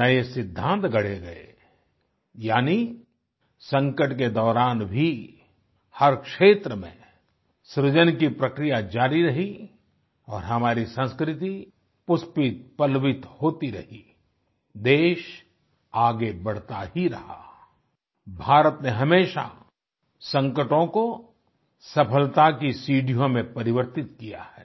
नए सिद्धांत गड़े गए यानि संकट के दौरान भी हर क्षेत्र में सृजन की प्रक्रिया जारी रही और हमारी संस्कृति पुष्पितपल्लवित होती रही देश आगे बढ़ता ही रहा आई भारत ने हमेशा संकटों को सफलता की सीढियों में परिवर्तित किया है